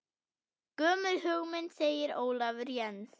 Gömul hugmynd segir Ólafur Jens.